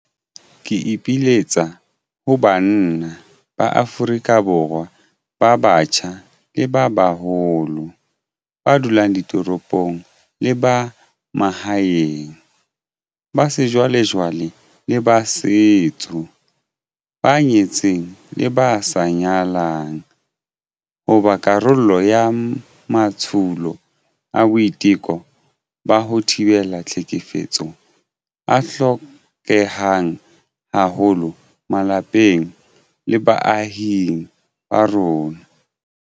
Ke ipiletsa ho banna ba Afrika Borwa ba batjha le ba baholo, ba dulang ditoropong le ba mahaeng, ba sejwalejwale le ba setso, ba nyetseng le ba sa nyalang, ho ba karolo ya matsholo a boiteko ba ho thibela tlhekefetso a hlokehang haholo malapeng le baahing ba rona.